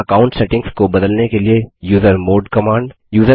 user account settings को बदलने के लिए यूजरमॉड कमांड